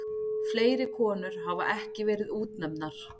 Fleiri konur hafa ekki verið útnefndar.